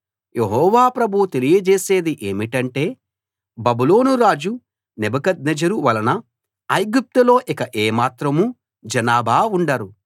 యెహోవా ప్రభువు తెలియజేసేది ఏమిటంటే బబులోను రాజు నెబుకద్నెజరు వలన ఐగుప్తులో ఇక ఏ మాత్రం జనాభా ఉండరు